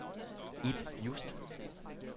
Ib Just